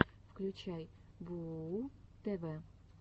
включай бууу тв